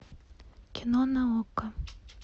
кино на окко